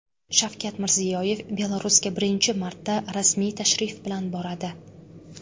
Shavkat Mirziyoyev Belarusga birinchi marta rasmiy tashrif bilan boradi.